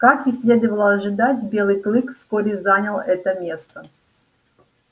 как и следовало ожидать белый клык вскоре занял это место